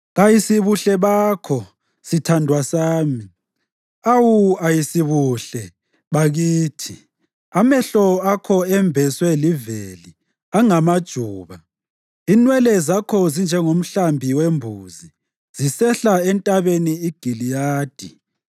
Kayisibuhle bakho, sithandwa sami! Awu, ayisibuhle, bakithi! Amehlo akho embeswe liveli, angamajuba. Inwele zakho zinjengomhlambi wembuzi zisehla entabeni iGiliyadi.